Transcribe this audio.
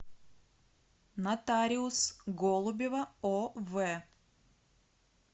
нотариус голубева ов